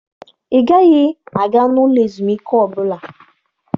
Ị gaghị aga n'ụlọ ezumike ọbụla!